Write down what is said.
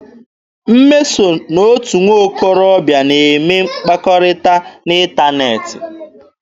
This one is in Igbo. Mmeso na otu nwokorobịa na-eme mkpakọrịta n'ịntaneetị.